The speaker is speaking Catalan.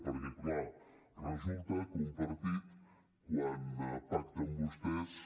perquè clar resulta que un partit quan pacta amb vostès